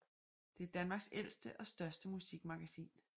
Det er Danmarks ældste og største musikmagasin